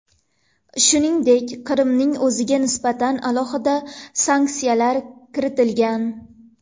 Shuningdek, Qrimning o‘ziga nisbatan alohida sanksiyalar kiritilgan .